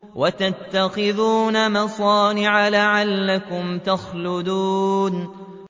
وَتَتَّخِذُونَ مَصَانِعَ لَعَلَّكُمْ تَخْلُدُونَ